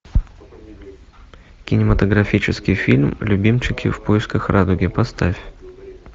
кинематографический фильм любимчики в поисках радуги поставь